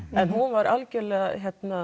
en hún var algjörlega